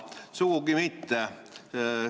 Sugugi mitte.